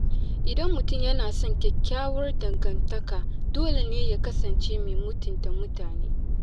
Idan mutum yana son kyakkyawar dangantaka, dole ne ya kasance mai mutunta mutane.